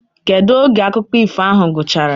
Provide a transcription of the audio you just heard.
kedu oge akụkọ ifo ahụ gwụchara?